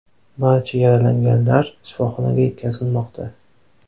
Barcha yaralanganlar shifoxonaga yetkazilmoqda.